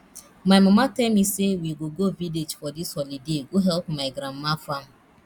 my mama tell me say we go go village for dis holiday go help my grandma farm